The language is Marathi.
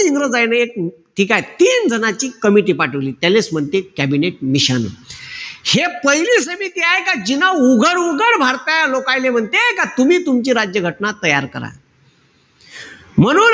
इंग्रजाईले ठीकेय? तीन जनाची committee पाठिवली. त्यालेच म्हणते कॅबिनेट मिशन. हे पहिली समिती आये का तिनं उघड-उघड भारतातले लोकाईले म्हणते का तुम्ही तुमची राज्य घटना तयार करा. म्हणून,